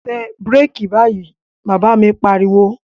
Tẹ bíràkì báyìí, Bàbá mi pariwo